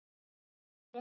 Þau eru hraust